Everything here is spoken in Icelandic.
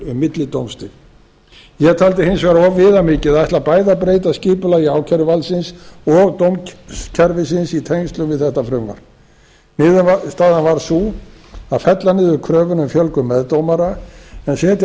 millidómstig ég taldi hins vegar of viðamikið að ætla bæði að breyta skipulagi ákæruvaldsins og dómskerfisins í tengslum við þetta frumvarp niðurstaðan varð sú að fella niður kröfuna um fjölgun meðdómara en setja á